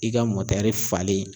I ka falen